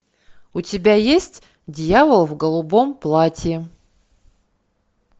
у тебя есть дьявол в голубом платье